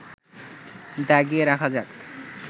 দাগিয়ে রাখা যাক